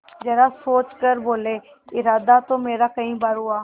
जरा सोच कर बोलेइरादा तो मेरा कई बार हुआ